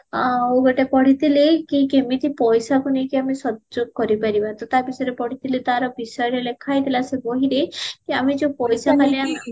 ଆଉ ଗୋଟେ ପଢିଥିଲି କି କେମିତି ପଇସାକୁ ନେଇକି ଆମେ ସଯୋଗ କରିପାରିବ ତ ତା ବିଷୟରେ ପଢିଥିଲେ ତ ତାର ବିଷୟରେ ଲେଖା ହେଇଥିଲା ସେ ବହିରେ କି ଆମେ ଯୋଉ ପଇସା